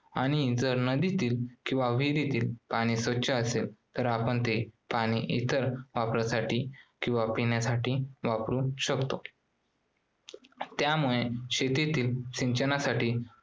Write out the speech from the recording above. आणि जर नदीतील किंवा विहिरीतील पाणी स्वच्छ असेल तर आपण ते पाणी इतर वापरासाठी किंवा पिण्यासाठी वापरू शकतो. त्यामुळे शेतीतील सिंचनासाठी